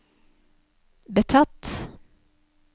betatt